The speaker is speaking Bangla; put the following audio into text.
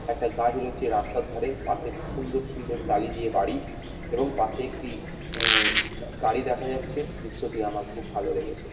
একটা গাছ রয়েছে রাস্তার ধারে। পাশে সুন্দর সুন্দর টালি দিয়ে বাড়ি। এবং পশে একটি এ গা গাড়ি দেখা যাচ্ছে। দৃশ্যটি আমার খুব ভালো লেগেছে।